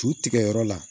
Cu tigɛ yɔrɔ la